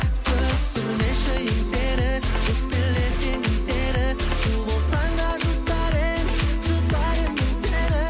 түсірмеші еңсені өкпелеткен кім сені у болсаң да жұтар едім жұтар едім мен сені